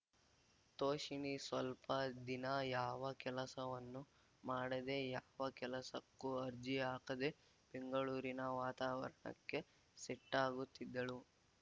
ತೋಷಿಣಿ ಸ್ವಲ್ಪ ದಿನ ಯಾವ ಕೆಲಸವನ್ನೂ ಮಾಡದೇ ಯಾವ ಕೆಲಸಕ್ಕೂ ಅರ್ಜಿ ಹಾಕದೇ ಬೆಂಗಳೂರಿನ ವಾತಾವರಣಕ್ಕೆ ಸೆಟ್ಟಾಗುತ್ತಿದ್ದಳು